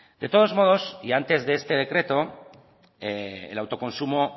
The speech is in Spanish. de todos modos y antes de este decreto el autoconsumo